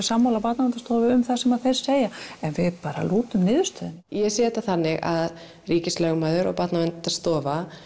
sammála Barnaverndarstofu um það sem þeir segja en við bara lútum niðurstöðunni ég sé þetta þannig að ríkislögmaður og Barnaverndarstofa